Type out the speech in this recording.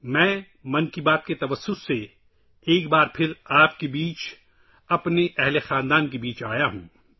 میں ’من کی بات‘ کے ذریعے ایک بار پھرآپ کے درمیان اوراپنے پریوار جنوں کےدرمیان آیا ہوں